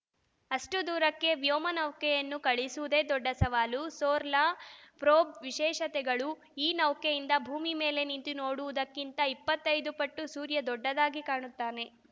ಅಷ್ಟುದೂರಕ್ಕೆ ವ್ಯೊಮ ನೌಕೆಯನ್ನು ಕಳುಹಿಸುವುದೇ ದೊಡ್ಡ ಸವಾಲು ಸೋಲಾರ್‌ ಪ್ರೋಬ್‌ ವಿಶೇಷತೆಗಳು ಈ ನೌಕೆಯಿಂದ ಭೂಮಿ ಮೇಲೆ ನಿಂತು ನೋಡುವುದಕ್ಕಿಂತ ಇಪ್ಪತ್ತೈದು ಪಟ್ಟು ಸೂರ್ಯ ದೊಡ್ಡದಾಗಿ ಕಾಣುತ್ತಾನೆ